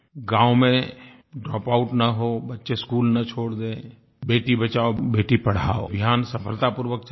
गाँव में ड्रॉपआउट न हों बच्चे स्कूल न छोड़ दें बेटी बचाओ बेटी पढ़ाओ अभियान सफलता पूर्वक चले